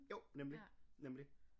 Jo nemlig nemlig